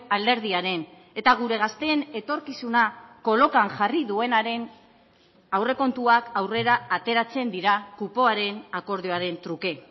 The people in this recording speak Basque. alderdiaren eta gure gazteen etorkizuna kolokan jarri duenaren aurrekontuak aurrera ateratzen dira kupoaren akordioaren truke